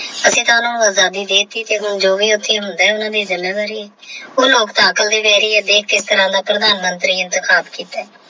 ਅਸੀਂ ਸਾਨੂੰ ਆਜ਼ਾਦੀ ਦੇ ਦਿੱਤੀ ਤੇ ਹੁਣ ਜੋ ਵੀ ਉੱਥੇ ਹੁੰਦਾ ਹੈ ਦੇਖ ਕਿਸ ਤਰ੍ਹਾਂ ਦਾ ਕਿੱਤਾ।